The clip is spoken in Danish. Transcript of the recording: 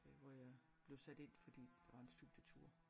Øh hvor jeg blev sat ind fordi der var en studietur